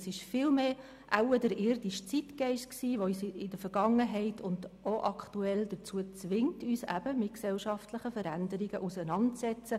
Es war wohl viel eher der irdische Zeitgeist, der uns in der Vergangenheit gezwungen hat und auch aktuell zwingt, uns mit den gesellschaftlichen Veränderungen auseinanderzusetzen.